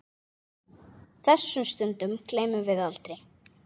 Þessum stundum gleymum við aldrei.